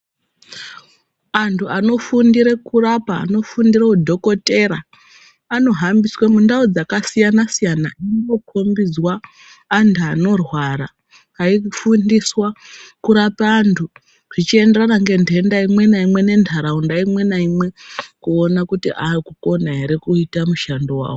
Antu ano fundire kurapa ano fundire hu dhokotera ano hambiswe mundau dzaka siyana siyana muno kombidzwa antu anorwara ayi fundiswa kurapa antu zvichi enderana nge dhenda imwe na imwe ne ndaraunda imwe na imwe kuona kuti akukona ere kuita mushando wawo.